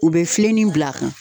U be filenni bil'a kan